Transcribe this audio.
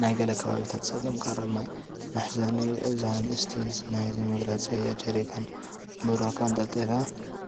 ናይ ገለ ከባቢታት ፀገም ቀረብ ማይ መሕዘኒ እዩ፡፡ እዛ ንእስቲ ናይዚ መግለፂ እያ፡፡ ጀሪካንን ብራዃ ኣንጠልጢላ